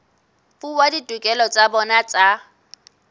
fuwa ditokelo tsa bona tsa